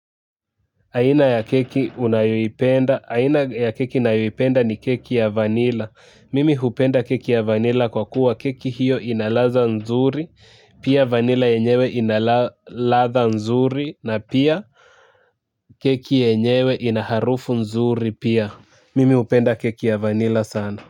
Aina ya keki unayoipenda, aina ya keki ninayoipenda ni keki ya vanila, mimi hupenda keki ya vanila kwa kuwa keki hiyo inaladha nzuri, pia vanila yenyewe inaladha nzuri, na pia keki enyewe inaharufu nzuri pia, mimi upenda keki ya vanila sana.